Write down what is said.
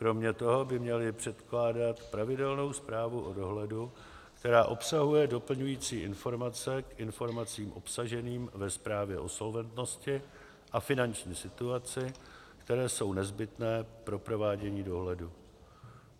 Kromě toho by měly překládat pravidelnou zprávu o dohledu, která obsahuje doplňující informace k informacím obsaženým ve zprávě o solventnosti a finanční situaci, které jsou nezbytné pro provádění dohledu.